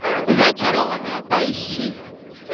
зачарованная поищи